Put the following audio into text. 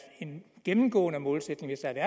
en gennemgående målsætning hvis der